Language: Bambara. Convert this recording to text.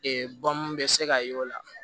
bɔn mun bɛ se ka ye o la